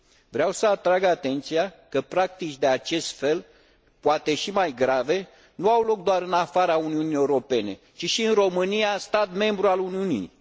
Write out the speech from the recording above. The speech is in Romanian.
Vreau să atrag atenția că practici de acest fel, poate și mai grave, nu au loc doar în afara Uniunii Europene, ci și în România, stat membru al Uniunii.